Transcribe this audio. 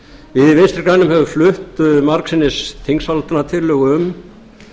við vinstri grænir höfum flutt margsinnis þingsályktunartillögu um